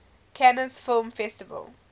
cannes film festival